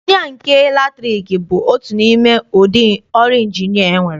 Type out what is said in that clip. Ịnjinịa nke latriki bụ otu n'ime ụdị ọrụ Ịnjinịa enwere.